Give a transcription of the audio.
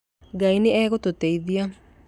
Ngai nĩ egũtũteithia.